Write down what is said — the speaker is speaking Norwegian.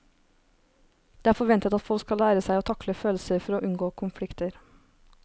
Det er forventet at folk skal lære seg å takle følelser for å unngå konflikter.